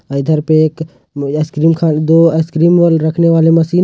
पे एक मुझे आइसक्रीम खाने दो आइसक्रीम रखने वाली मशीन ।